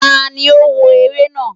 taní o wó eré naa?